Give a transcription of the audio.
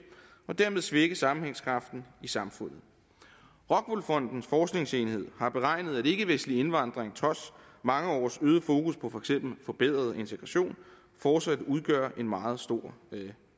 og dermed svække sammenhængskraften i samfundet rockwool fondens forskningsenhed har beregnet at ikkevestlig indvandring trods mange års øget fokus på for eksempel forbedret integration fortsat udgør en meget stor